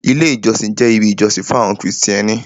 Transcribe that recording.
Ilé ìjọsìn jẹ́ ibi ìjọsìn fún àwọn krìstẹ́nì.